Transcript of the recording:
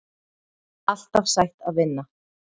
Alltaf sætt að vinna